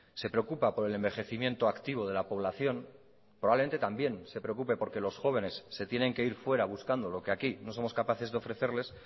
se preocupa por el envejecimiento activo de la población probablemente también se preocupe porque los jóvenes se tiene que ir fuera buscando lo que aquí no somos capaces de ofrecerles